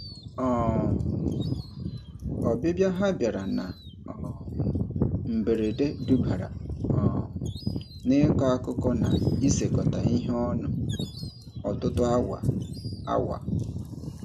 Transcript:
um Ọbịbịa ha bịara na um mberede dubara um n'ịkọ akụkọ na isekọta ihe ọnụ ọtụtụ awa. awa.